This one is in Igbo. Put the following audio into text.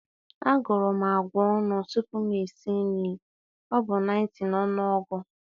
A guru m agwa onu tupu m esi nri ọ bụ 90 na ọnụọgụ.